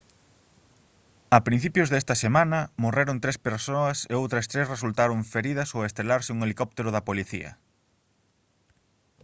a principios desta semana morreron tres persoas e outras tres resultaron feridas ao estrelarse un helicóptero da policía